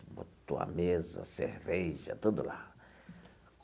Botou a mesa, cerveja, tudo lá.